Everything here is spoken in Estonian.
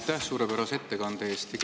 Aitäh suurepärase ettekande eest!